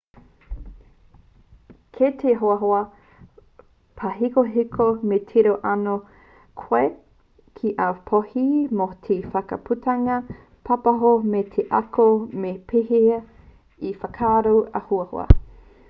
ki te hoahoa pāhekoheko me tiro anō koe ki āu pōhēhē mō te whakaputanga pāpāho me te ako me pēhea e whakaaro auaha